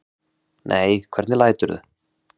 Nei, hvernig læturðu!